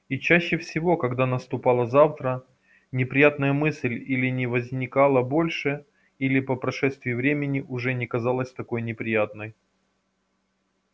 и чаще всего когда наступало завтра неприятная мысль или не возникала больше или по прошествии времени уже не казалась такой неприятной